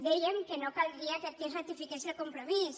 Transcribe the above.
dèiem que no caldria que aquí és ratifiqués el compromís